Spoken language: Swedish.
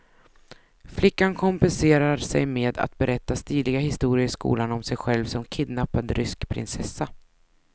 Flickan kompenserar sig med att berätta stiliga historier i skolan om sig själv som kidnappad rysk prinsessa.